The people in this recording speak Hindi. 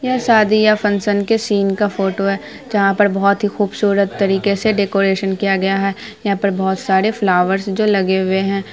यहाँ शादी या फंक्शन के सीन का फोटो है जहाँ पर बहुत ही खूबसूरत तरीके से डेकोरेशन किया गया है| यहाँ पर बहुत सारे फ्लावर्स जो लगे हुए हैं।